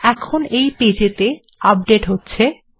এখন এই পেজেতে আপডেট্ হচ্ছে